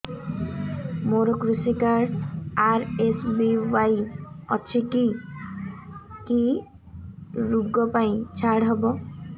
ମୋର କୃଷି card RSBY ଅଛି କି କି ଋଗ ପାଇଁ ଛାଡ଼ ହବ